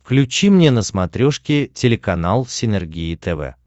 включи мне на смотрешке телеканал синергия тв